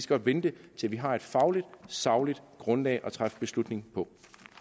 godt vente til vi har et fagligt sagligt grundlag at træffe beslutning på